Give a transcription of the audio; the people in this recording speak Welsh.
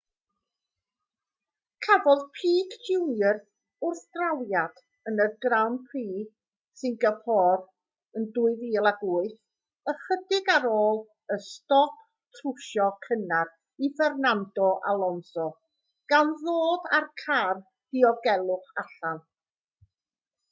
cafodd pique jr wrthdrawiad yn grand prix singapore yn 2008 ychydig ar ôl y stop trwsio cynnar i fernando alonso gan ddod â'r car diogelwch allan